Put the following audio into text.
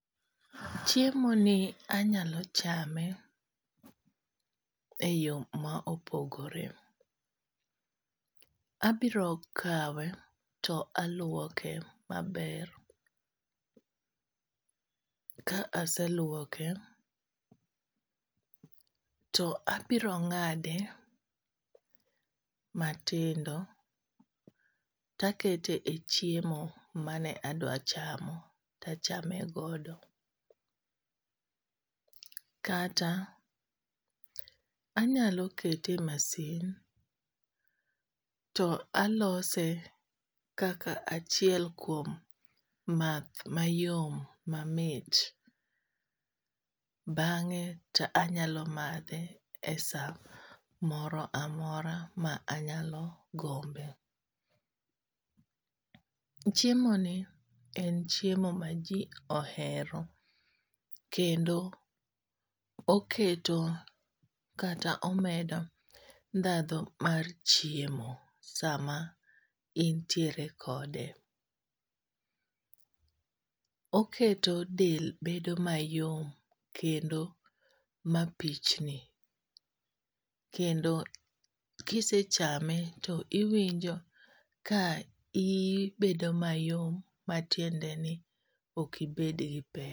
Chiemo ni anyalo chame e yo ma opogore, abiro kawe to alwoke maber. Ka aselwoke, to abiro ng'ade matindo takete e chiemo mane adwa chamo tachame godo. Kata anyalo kete e masin to alose kaka achiel kuom math mayom mamit, bang'e to anyalo madhe e sa moro amora ma anyalo gombe. Chiemo ni en chiemo ma ji ohero kendo oketo kata omedo ndhadho mar chiemo sama intiere kode. Oketo del bedo mayom kendo mapichni, kendo kisechame to iwinjo ka ibedo mayom. Matiende ni okibed gi pek.